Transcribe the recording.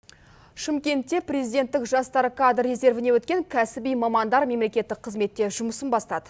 шымкентте президенттік жастар кадр резервіне өткен кәсіби мамандар мемлекеттік қызметте жұмысын бастады